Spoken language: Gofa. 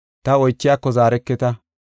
Ta oychiyako zaareketa.